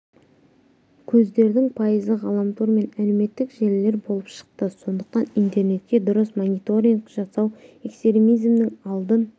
көздердің пайызы ғаламтор мен әлеуметтік желілер болып шықты сондықтан интернетке дұрыс мониторинг жасау экстремизмнің алдын